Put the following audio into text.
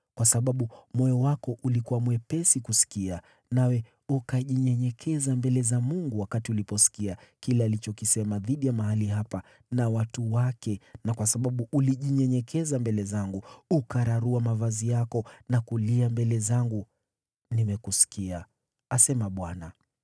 Kwa kuwa moyo wako ulikuwa msikivu na ulijinyenyekeza mbele za Mungu uliposikia kile nilichosema dhidi ya mahali hapa na watu wake na kwa sababu ulijinyenyekeza mbele zangu na uliyararua mavazi yako na kulia mbele zangu, nimekusikia, asema Bwana .